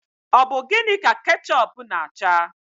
Ọ bụ gịnị ka kechup na acha?